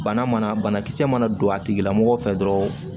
Bana mana banakisɛ mana don a tigila mɔgɔ fɛ dɔrɔn